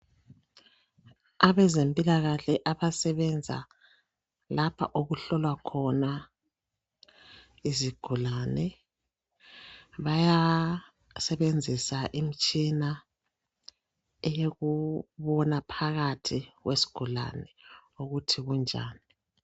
Abezempilakahle abasebenza lapha okuhlolwa khona izigulane. Bayasebenzisa imtshina eyokubona phakathi kwesigulane ukuthi kunjani